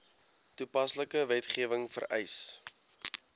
toepaslike wetgewing vereis